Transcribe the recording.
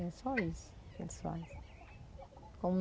É só isso que eles fazem.